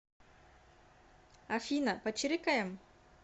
афина почирикаем